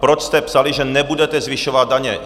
Proč jste psali, že nebudete zvyšovat daně?